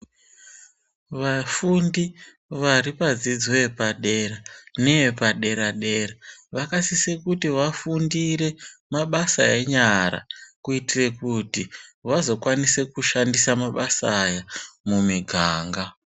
Vafundi vari padzidzo yepadera neye padera dera vakasise kuti vafundire mabasa enyara kuitira kuti vazokwanise kushandise mabasa aya mumiganga.